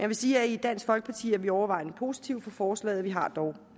vil sige at i dansk folkeparti er vi overvejende positive over for forslaget vi har dog